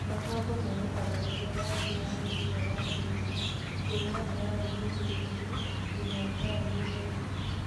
Makongo meruhaga rĩrĩ rangi wa mĩigua washenjia kuma braũni njirĩrĩru nginya braũni theũku